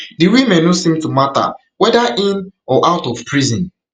di women no seem to matter weda in or out of prison